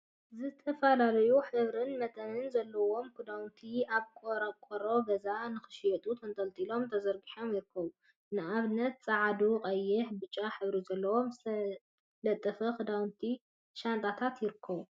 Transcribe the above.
ዝተፈላለዩ ሕብሪን መጠንን ዘለዎም ክዳውንቲ ኣብ ቆርቆሮ ገዛ ንክሽየጡ ተንጠልጢሎምን ተዘርጊሖምን ይርከቡ። ንኣብነት ጸዓዱ ፣ቀይሕን ብጫን ሕብሪ ዘለዎም ዝተጠለፉ ክዳውንቲን ሻንጣታትን ይርከቡ።